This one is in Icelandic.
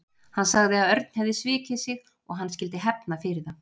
Hann sagði að Örn hefði svikið sig og hann skyldi hefna fyrir það.